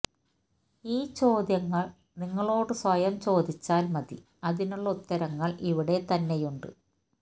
ഈ ചോദ്യങ്ങള് നിങ്ങള് സ്വയം ചോദിച്ചാല് മതി അതിനുള്ള ഉത്തരങ്ങള് ഇവിടെത്തന്നെയുണ്ട്